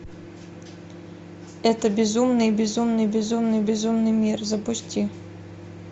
это безумный безумный безумный безумный мир запусти